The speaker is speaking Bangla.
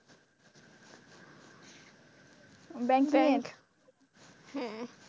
Banking এর, হ্যাঁ,